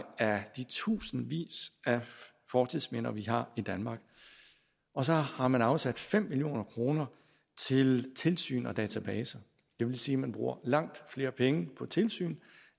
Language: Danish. af de tusindvis af fortidsminder vi har i danmark og så har man afsat fem million kroner til tilsyn og databaser det vil sige man bruger langt flere penge på tilsyn